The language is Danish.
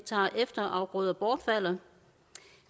efterafgrøder bortfalder